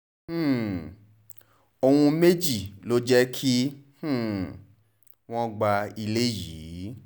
um ohun méjì ló jẹ́ kí um wọ́n gba ilé yìí